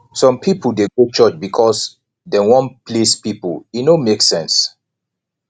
some pipo dey go church because dem wan please pipo e no make sense